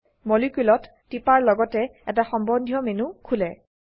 Moleculeত টিপাৰ লগতে এটা সম্বন্ধীয় মেনু খোলে